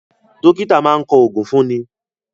Dókítà máa ń kọ oògùn fún ni